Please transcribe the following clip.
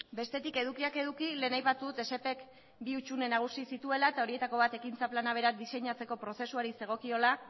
bestetik edukiak eduki lehen aipatu dut esep ek bi hutsune nagusi zituela eta horietako bat ekintza plana berak diseinatzeko prozesuari zegokiola